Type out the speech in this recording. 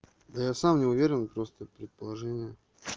я сам не уверен просто предположение